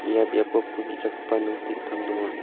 ia biapo pul ge·chakgipa nok te·gittam donga.